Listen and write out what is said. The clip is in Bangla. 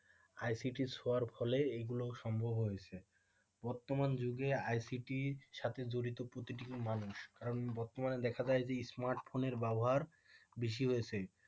ICT ইর শোয়ার ফলে এগুলো সম্ভব হয়েছে বর্তমান যুগে ICT র সাথে জড়িত প্রতিটি মানুষ কারণ বর্তমানে দেখা যায় যে স্মার্টফোনের ব্যবহার বেশি হয়েছে